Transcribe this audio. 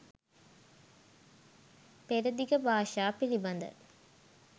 පෙරදිග භාෂා පිළිබඳ